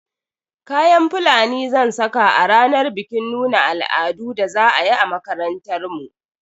Kayan Fulani zan saka a ranar bikin nuna al'adun da za a yi a makarantar mu.